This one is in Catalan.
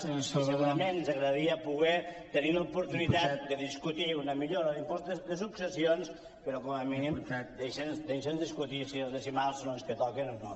i segurament ens agradaria poder tenir l’oportunitat de discutir una millora en l’impost de successions però com a mínim deixi’ns discutir de si els decimals són els que toquen o no